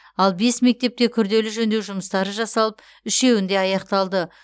ал бес мектепте күрделі жөндеу жұмыстары жасалып үшеуінде аяқталды